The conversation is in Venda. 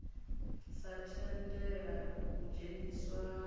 sa tendela u dzheniswa ha